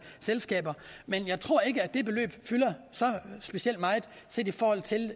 selskaber at det beløb fylder så specielt meget set i forhold til